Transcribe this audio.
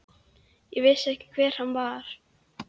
Ég vissi ekki hver hann var.